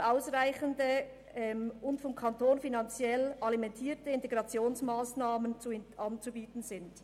] qualitativ ausreichende und vom Kanton finanziell alimentierte Integrationsmassnahmen anzubieten sind».